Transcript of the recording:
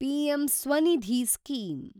PM Svanidhi scheme